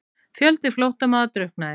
Fjöldi flóttamanna drukknaði